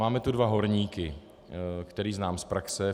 Máme tu dva horníky, které znám z praxe.